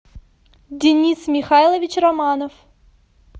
денис михайлович романов